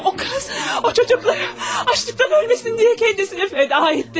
O qız o uşaqların aclıqdan ölməsin deyə özünü fəda etdi.